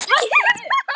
Þú svæfa Lóló